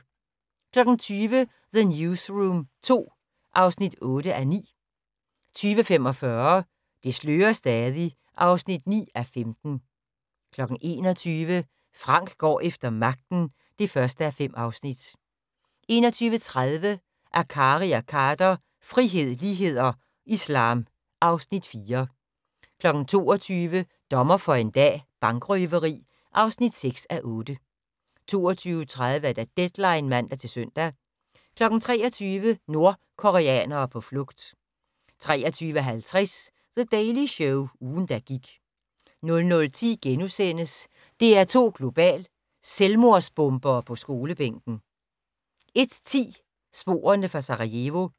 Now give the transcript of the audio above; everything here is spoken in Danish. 20:00: The Newsroom II (8:9) 20:45: Det slører stadig (9:15) 21:00: Frank går efter magten (1:5) 21:30: Akkari og Khader - frihed, lighed og islam (Afs. 4) 22:00: Dommer for en dag - bankrøveri (6:8) 22:30: Deadline (man-søn) 23:00: Nordkoreanere på flugt 23:50: The Daily Show - ugen, der gik 00:10: DR2 Global: Selvmordsbombere på skolebænken * 01:10: Sporene fra Sarajevo